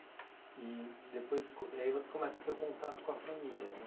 E depois co e aí você começa a ter o contato com a família né.